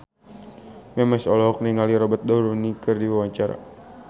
Memes olohok ningali Robert Downey keur diwawancara